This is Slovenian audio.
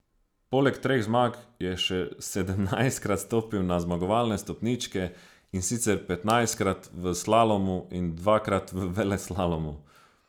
Poleg treh zmag je še sedemnajstkrat stopil na zmagovalne stopničke, in sicer petnajstkrat v slalomu in dvakrat v veleslalomu.